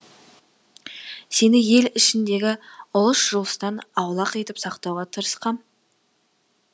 сені ел ішіндегі ұлыс жұлыстан аулақ етіп сақтауға тырысқам